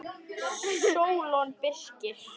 Sólon Birkir.